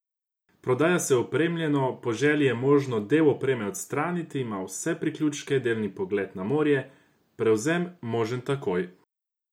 Prodaja se opremljeno, po želji je možno del opreme odstraniti, ima vse priključke, delni pogled na morje, prevzem možen takoj!